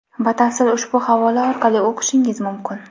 Batafsil ushbu havola orqali o‘qishingiz mumkin.